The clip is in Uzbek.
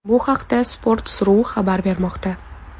Bu haqda Sports.ru xabar bermoqda .